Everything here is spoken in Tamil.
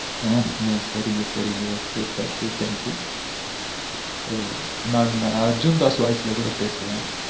ஆஹ் ஆ சரிங்க சரிங்க okay okey thank you thank you நான் அர்ஜுண்தாஸ் voice ல கூட பேசுவே